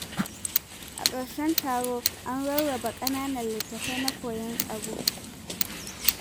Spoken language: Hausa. A ƙarshen taron an rarraba ƙananan littattafai na koyon tsaro.